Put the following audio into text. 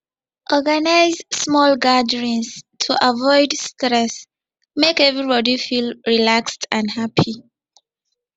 organize small gatherings to avoid stress make everybody feel relaxed and happy